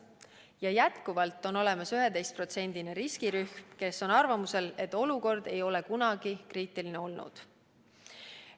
Ja jätkuvalt on olemas 11% suurune riskirühm, kes on arvamusel, et olukord ei ole kunagi kriitiline olnud.